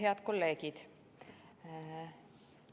Head kolleegid!